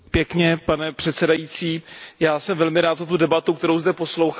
Pane předsedající, já jsem velmi rád za tu debatu, kterou zde poslouchám.